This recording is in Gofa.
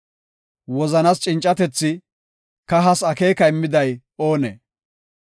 Wozanas cincatethi, kahas akeeka immiday oonee?